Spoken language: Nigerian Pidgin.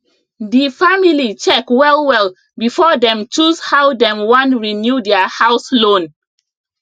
di family check wellwell before dem choose how dem wan renew their house loan